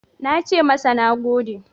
Na ce masa "Na gode."